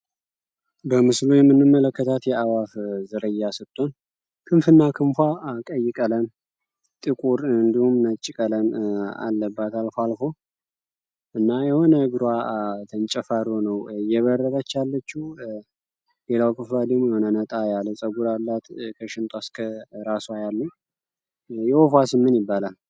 በምስሎ የምንም መለከታት የአዋፍ ዝርያ ስጥቶን ክንፍእና ክምኳ ቀይ ቀለም ጥቁር ንድውም ነጭቀለም አለባት። ልፎ አልፎ እና የሆነ እግሮ ተንጨፋሩ ነው እየበረበቻ አለት ።ሌላው ክፋሊሞ የሆነ ነጣ ያለጸጉራ ላት ከሽንጦ ስከ ራሷ ያሉ የወፏ ስምን ይባላል?